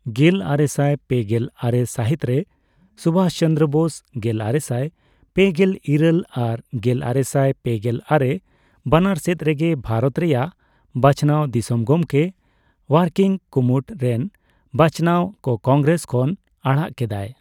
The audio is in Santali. ᱜᱮᱞᱟᱨᱮᱥᱟᱭ ᱯᱮᱜᱮᱞ ᱟᱨᱮ ᱥᱟᱹᱦᱤᱛ ᱨᱮ ᱥᱩᱵᱷᱟᱥ ᱪᱚᱱᱫᱽᱨᱚ ᱵᱳᱥ, ᱜᱮᱞᱟᱨᱮᱥᱟᱭ ᱯᱮᱜᱮᱞ ᱤᱨᱟᱹᱞ ᱟᱨ ᱜᱮᱞᱟᱨᱮᱥᱟᱭ ᱯᱮᱜᱮᱞ ᱟᱨᱮ ᱵᱟᱱᱟᱨ ᱥᱮᱫ ᱨᱮᱜᱮ ᱵᱷᱟᱨᱚᱛ ᱨᱮᱭᱟᱜ ᱵᱟᱪᱷᱱᱟᱣ ᱫᱤᱥᱚᱢ ᱜᱚᱢᱠᱮ, ᱚᱣᱟᱨᱠᱤᱝ ᱠᱩᱢᱩᱴ ᱨᱮᱱ ᱵᱟᱪᱟᱣᱱᱟᱣ ᱠᱚ ᱠᱚᱝᱜᱨᱮᱥ ᱠᱷᱚᱱ ᱟᱲᱟᱜ ᱠᱮᱫᱟᱭ ᱾